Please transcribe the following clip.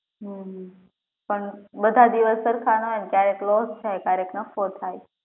હમ પણ બધા દિવસ સરખા ના હોય ને કયારેક loss થાય ને કયારેક નફો થાય